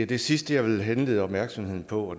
det sidste jeg vil henlede opmærksomheden på